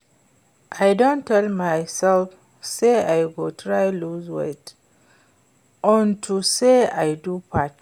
I don tell myself say I go try lose weight unto say I do fat